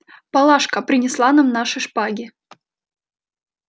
палашка принесла нам наши шпаги